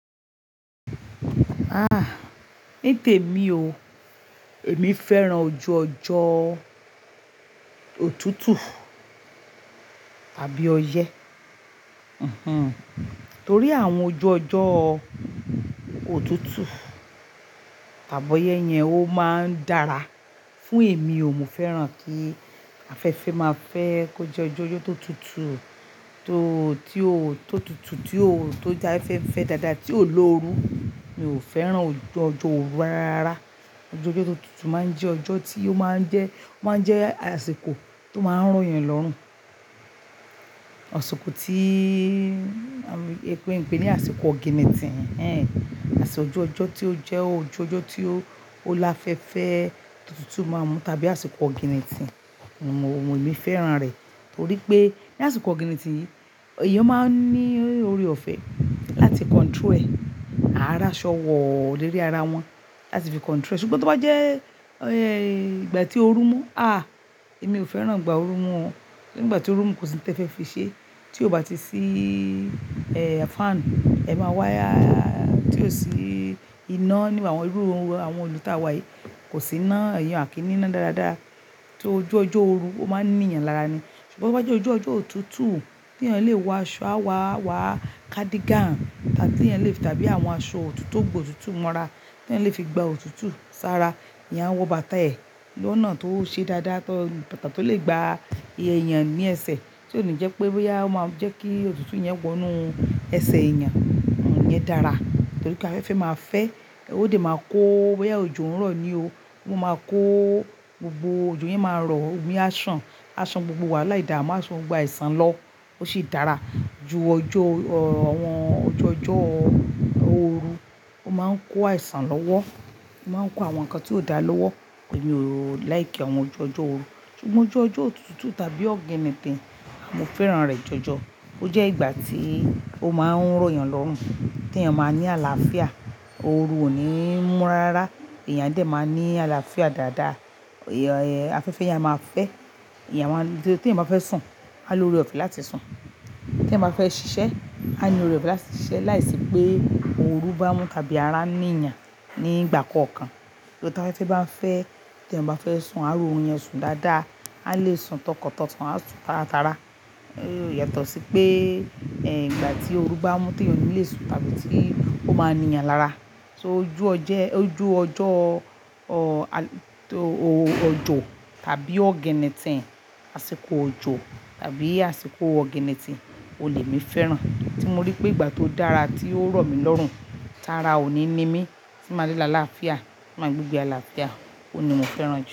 Ah! Ní tèmi o, èmi fẹ́ràn ojú ọjọ́ òtútù tàbí ọyẹ, mhm. Torí àwọn ojú ọjọ́ òtútù tàbí ọyẹ yẹn ó máa ń dára fún èmi o, mo fẹ́ràn kí afẹ́fẹ́ máa fẹ́ kó jẹ́ ojú ọjọ́ tó tutù tó tí ó tó tutù tí ó tó dá afẹ́fẹ́ dáadáa tí ò lóru. Mi ò fẹ́ràn ojú ọjọ́ ooru rárá. Ojú ọjọ́ tó tutù máa ń jẹ́ ọjọ́ tí ó máa ń jẹ́, ó máa ń jẹ́ àsìkò tó máa ń rọ̀'yàn lọ́rùn. Àsìkò tí a lè pé ní àsìkò oginitìn hen-en. Àti ojú ọjọ́ tí ó jẹ́ ojú ọjọ́ tí ó láfẹ́fẹ́ tó tutù máa n mú tàbí àsìkò oginitìn. Mo, èmi fẹ́ràn rẹ̀. Torí pé ní àsìkò oginitìn yìí, èèyàn máa ń ní oore ọ̀fẹ́ láti control ẹ̀. À ríí aṣọ wọ́, lérí ara wọn láti fi control ẹ̀. Sugbon tó bá jẹ́, eh, ìgbà tí ooru mú, ah! Èmi ò fẹ́ràn ìgbà ooru mú o. Ní ìgbà tí ooru mú, kò sí nǹkan tí e fẹ́ fi ṣe. Tí ó bá ti sí, eh, fan, ẹ máa wá, tí ó sì iná níbi àwọn irú àwọn ìlú tá wa yìí kò sí iná, à kí ní iná dáadáa. Tí ojú ọjọ́ ooru, ó máa ń níyàn lára ni. Ṣugbọn bó bá jẹ́ ojú ọjọ́ òtútù tí èèyàn lè wọ aṣọ, a wá, wá cardigan tí èèyàn lè fi tàbí àwọn aṣọ òtútù tó gba òtútù mọ́ra tí eeyan lè fi gba òtútù sára. Eeyan a wọ bàtà ẹ̀ lónà tó ṣe dáadáa, tọ́ bàtà tó lè gba iye èèyàn ní ẹsẹ̀. Tí ò ní jẹ́ pé ó máa ń jẹ́ kí òtútù yẹn wọ inú ẹsẹ̀ èèyàn. Ìyẹn dára. Torí pé afẹ́fẹ́ máa fẹ́, òde máa kó bóyá òjò n rọ̀ ní o. Ó máa kó gbogbo ojò yen máa rọ̀, omi a ṣàn. A ṣàn gbogbo wàhalá ìdaamú á san gbogbo àìsàn lọ. Ó sì dára ju ọjọ́, àwọn ojú ọjọ́ ooru. Ó máa ń kó àìsàn lọ́wọ́. Ó máa ń kó àwọn nǹkan tí ó da lọ́wọ́. Èmi ò like àwọn ojú ọjọ́ ooru. Sugbon ojú ọjọ́ òtútù tàbí oginitìn, mo fẹ́ràn rẹ̀ jọjọ. Ó jẹ́ ìgbà tí ó máa ń rọ̀'yàn lọ́rùn, tí èèyàn máa ní àlàáfíà. Ooru ò ní mú rárárárá. Eeyan a dè máa ní àlàáfíà dáadáa. Ìyẹn, afẹ́fẹ́ yẹn máa fẹ́. Tí èèyàn bá fẹ́ sun, a lo oore ọ̀fẹ́ láti sun. Tí èèyàn bá fẹ́ ṣiṣẹ́, a ni oore ọ̀fẹ́ láti ṣiṣẹ́ láìsí pé ooru bá mú tàbí ara n ní'yàn ní ìgbà kankan. Torí tí afẹ́fẹ́ bá ń fẹ́, tí èèyàn bá fẹ́ sun, a rí óorun yen sun dáadáa. A lè sun tọkàntọkàn, a ó sun tárátarà. So, yàtọ̀ sí pé, ìgbà tí ooru bá mú tí èèyàn ò lè sun tàbí tí ó máa ń ní'yàn lára. So ojú ọjọ́, ọ, ojò tàbí oginnitìn, àsìkò òjò tàbí àsìkò oginnitìn, oun lèmi fẹ́ràn. Tí mo rí pé ìgbà tó dára tí ó rọ̀ mí lọ́rùn, tára ò ní nimí tí màá le lá'làáfíà, ti máa gbé ìgbé àlàáfíà, òun ní mo fẹ́ràn jọ.